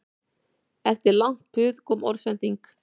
Eftir langt puð kom orðsending